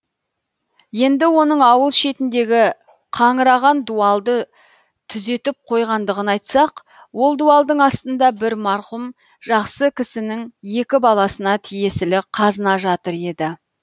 енді оның ауыл шетіндегі қаңыраған дуалды түзетіп қойғандығын айтсақ ол дуалдың астында бір марқұм жақсы кісінің екі баласына тиесілі қазына жатыр еді